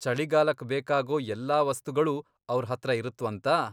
ಚಳಿಗಾಲಕ್ ಬೇಕಾಗೋ ಎಲ್ಲಾ ವಸ್ತುಗಳೂ ಅವ್ರ್ ಹತ್ರ ಇರತ್ವಂತ?